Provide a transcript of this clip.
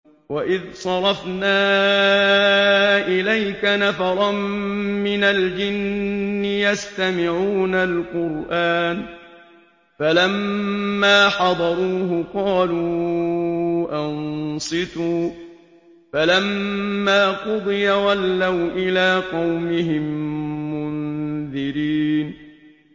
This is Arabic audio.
وَإِذْ صَرَفْنَا إِلَيْكَ نَفَرًا مِّنَ الْجِنِّ يَسْتَمِعُونَ الْقُرْآنَ فَلَمَّا حَضَرُوهُ قَالُوا أَنصِتُوا ۖ فَلَمَّا قُضِيَ وَلَّوْا إِلَىٰ قَوْمِهِم مُّنذِرِينَ